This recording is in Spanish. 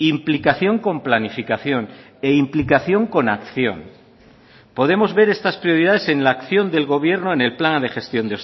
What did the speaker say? implicación con planificación e implicación con acción podemos ver estas prioridades en la acción del gobierno en el plan de gestión